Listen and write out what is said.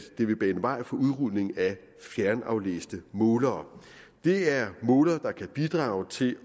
det vil bane vej for udrulning af fjernaflæste målere det er målere der kan bidrage til